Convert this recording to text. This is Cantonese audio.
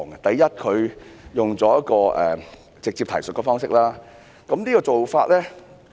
第一，它採用直接提述的方式，這種做法......